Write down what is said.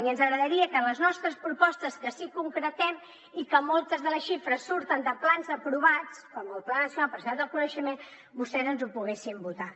i ens agradaria que les nostres propostes que sí que concretem i que moltes de les xifres surten de plans aprovats com el pla nacional per a la societat del coneixement vostès ens les poguessin votar